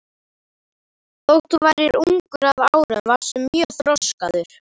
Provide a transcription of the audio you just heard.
Þótt þú værir ungur að árum varstu mjög þroskaður.